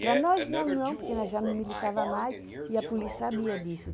Para nós não, porque nós já não militávamos mais e a polícia sabia disso.